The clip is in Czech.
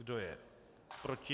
Kdo je proti?